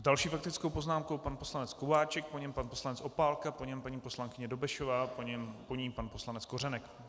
S další faktickou poznámkou pan poslanec Kováčik, po něm pan poslanec Opálka, po něm paní poslankyně Dobešová, po ní pan poslanec Kořenek.